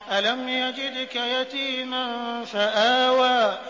أَلَمْ يَجِدْكَ يَتِيمًا فَآوَىٰ